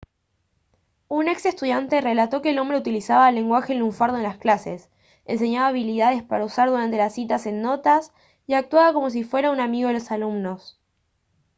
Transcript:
un ex estudiante relató que el hombre «utilizaba lenguaje lunfardo en las clases enseñaba habilidades para usar durante las citas en notas y actuaba como si fuera un amigo de los alumnos»